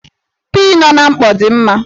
Pii nọ n'mkpọ dị mma